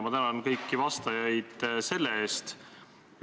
Ma tänan kõiki vastajaid selle eest!